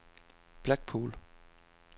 Blackpool